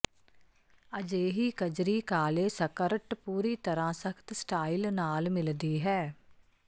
ਅਜਿਹੀ ਕਜਰੀ ਕਾਲੇ ਸਕਰਟ ਪੂਰੀ ਤਰ੍ਹਾਂ ਸਖਤ ਸਟਾਈਲ ਨਾਲ ਮਿਲਦੀ ਹੈ